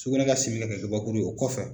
Sugunɛ ka simi ka kɛ kabakuru o kɔfɛ,